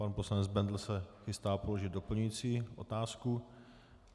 Pan poslanec Bendl se chystá položit doplňující otázku.